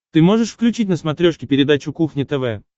ты можешь включить на смотрешке передачу кухня тв